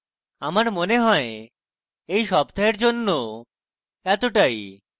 এবং আমার মনে হয় এই সপ্তাহের জন্য এতটাই